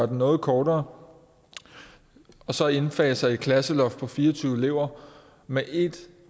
noget kortere og så indfase et klasseloft på fire og tyve elever med et